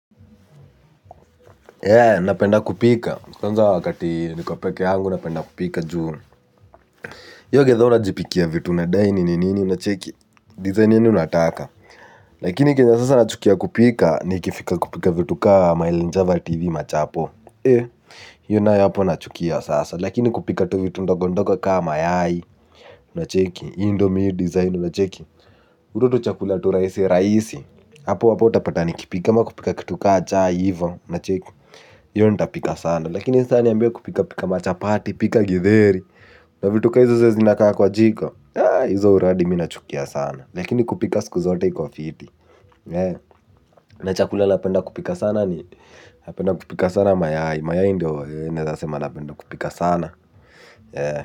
Ee napenda kupika kwanza wakati nikopeke yangu napenda kupika juu hio githaa una jipikia vitu unadai nini nini unacheki design yaani unataka lakini kenye sasa nachukia kupika ni ikifika kupika vitu kama elinjavati hivi ma chapo ee hiyo nayo hapo nachukia sasa lakini kupika tu vitu ndogondogo ka mayai unacheki hii ndo mi hii design unacheki hutu tuchakula tu raisi raisi hapo hapo utapata ni kipika kama kupika kitu ka cha hivo una cheki hio nitapika sana lakini saa niambie kupika pika machapati pika githeri na vitu kahizo zenye zinakaa kwa jiko hizo uradi minachukia sana lakini kupika siku zote ikwa fiti na chakulala napenda kupika sana ni napenda kupika sana mayai mayai ndio naeza sema napenda kupika sana ya.